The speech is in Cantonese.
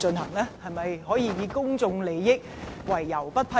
你能否以公眾利益為由不予批准？